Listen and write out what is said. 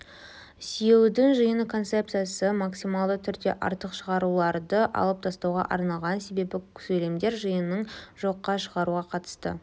сүйеудің жиыны концепциясы максималды түрде артық шығаруларды алып тастауға арналған себебі сөйлемдер жиынының жоққа шығаруға қатысы